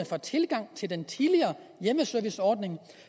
for tilgang til den tidligere hjemmeserviceordning